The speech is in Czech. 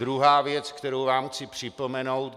Druhou věc, kterou vám chci připomenout.